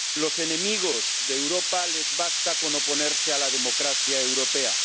A los enemigos de Europa les basta con oponerse a la democracia europea.